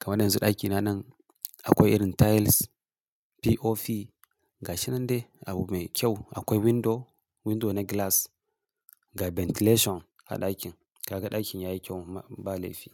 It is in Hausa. Kama yanzu ɗakina nan akwai irin tiles, POP ga shi nan dai abu mai kyau akwai window, window na glass ga ventilation a ɗakin. Kaga ɗakin yayi kyau ba laifi.